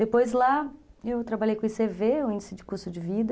Depois lá eu trabalhei com o i cê vê, o Índice de Custo de Vida,